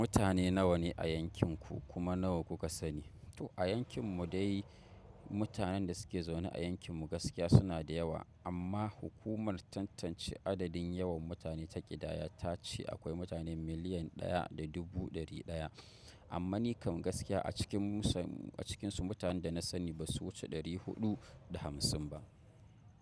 Mutane nawa ne a yankin ku kuma nawa kuka sani? To a yankin mu dai mutanen da suke zaune a yankin mu gaskiya suna da yawa amma hukumar tantance adadin yawan mutane ta ƙidaya ta ce akwai mutane miliyan ɗaya da dubu ɗari ɗaya. Amma ni kam gaskiya a cikin musa a cikinsu mutanen da na sani ba su wuce ɗari huɗu da hamsin ba.